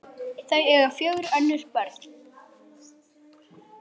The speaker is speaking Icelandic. Þau eiga fjögur önnur börn.